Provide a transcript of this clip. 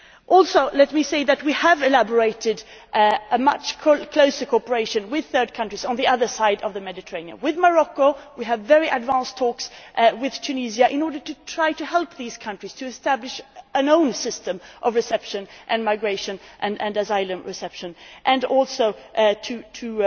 Also, let me say that we have elaborated a much closer cooperation with third countries on the other side of the Mediterranean. We have very advanced talks with Morocco, with Tunisia, in order to try and help these countries to establish their own system of reception and migration and asylum reception, and also